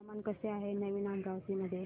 हवामान कसे आहे नवीन अमरावती मध्ये